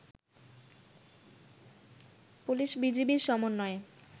পুলিশ-বিজিবির সমন্বয়ে